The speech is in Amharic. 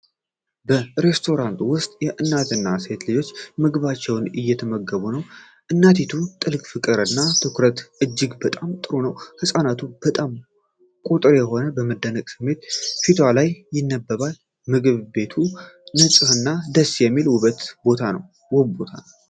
በሬስቶራንት ውስጥ እናትና ሴት ልጆች ምግባቸውን እየተመገቡ ነው። የእናቲቱ ጥልቅ ፍቅር እና ትኩረት እጅግ በጣም ጥሩ ነው። ህጻናቱ በጣም ቁጥብ የሆነ፣ የመደነቅ ስሜት ፊቷ ላይ ይነበባል። ምግብ ቤቱ ንፁህና ደስ የሚል ውብ ቦታ ነው።